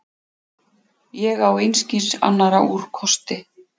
Ég á einskis annars úrkosti.